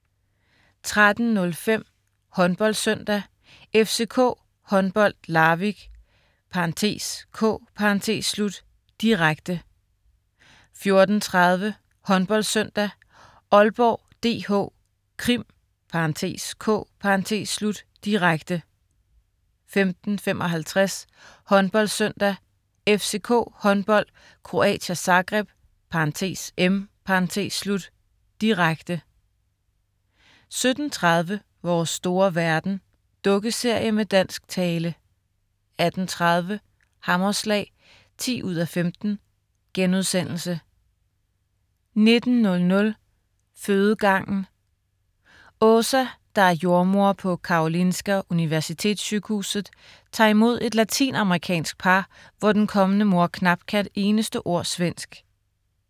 13.05 HåndboldSøndag: FCK Håndbold-Larvik, (k), direkte 14.30 HåndboldSøndag: Aalborg DH-Krim (k), direkte 15.55 HåndboldSøndag: FCK Håndbold-Croatia Zagreb (m), direkte 17.30 Vores store verden. Dukkeserie med dansk tale 18.00 Hammerslag 10:15* 19.00 Fødegangen. Åsa, der er jordemoder på Karolinska Universitetssjukhuset, tager imod et latinamerikansk par, hvor den kommende mor knap kan et eneste ord svensk